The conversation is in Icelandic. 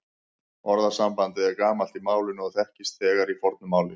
Orðasambandið er gamalt í málinu og þekkist þegar í fornu máli.